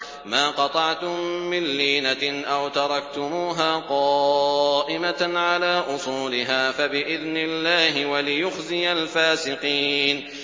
مَا قَطَعْتُم مِّن لِّينَةٍ أَوْ تَرَكْتُمُوهَا قَائِمَةً عَلَىٰ أُصُولِهَا فَبِإِذْنِ اللَّهِ وَلِيُخْزِيَ الْفَاسِقِينَ